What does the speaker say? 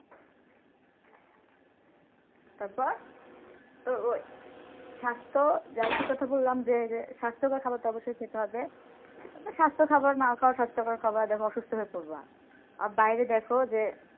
তার পর তো ঐ স্বাস্থ্য যাইতে কথা বললাম যে যে স্বাস্থ্যকর খাবার তো অবশ্যই খেতে হবে স্বাস্থ্য খাবার না খাও স্বাস্থ্য খাবার অসুস্থ হয়ে পরবা বাইরে দেখো যে,